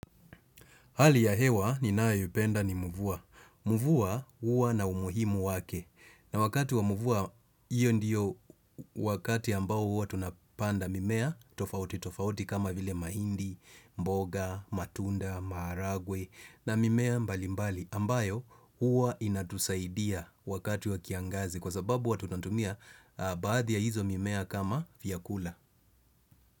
Hali ya hewa ninayoipenda ni mvua. Mvua huwa na umuhimu wake. Na wakati wa mvua, hiyo ndiyo wakati ambao huwa tunapanda mimea tofauti tofauti kama vile mahindi, mboga, matunda, maharagwe na mimea mbali mbali ambayo huwa inatusaidia wakati wa kiangazi kwa sababu huwa tunatumia baadhi ya hizo mimea kama vyakula.